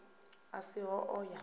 a si ho o ya